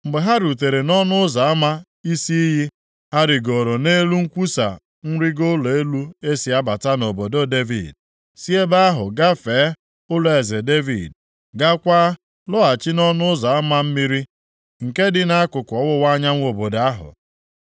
Mgbe ha rutere nʼỌnụ Ụzọ ama Isi Iyi, ha rigooro nʼelu nkwasa nrigo ụlọ elu e si abata nʼobodo Devid, si ebe ahụ gafee ụlọeze Devid, gaakwa lọghachi nʼỌnụ Ụzọ Ama Mmiri, nke dị nʼakụkụ ọwụwa anyanwụ obodo ahụ.